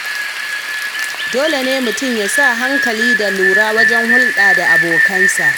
Dole ne mutum yasa hankali da lura wajen hulɗa da abokansa.